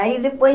Aí depois...